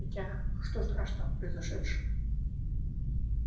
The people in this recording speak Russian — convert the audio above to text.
хотя что страшного в произошедшем